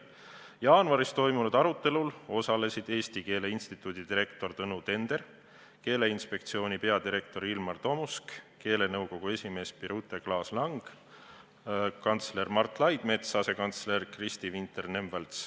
Jaanuaris toimunud arutelul osalesid Eesti Keele Instituudi direktor Tõnu Tender, Keeleinspektsiooni peadirektor Ilmar Tomusk, keelenõukogu esimees Birute Klaas-Lang, kantsler Mart Laidmets ja asekantsler Kristi Vinter-Nemvalts.